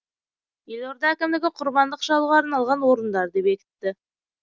елорда әкімдігі құрбандық шалуға арналған орындарды бекітті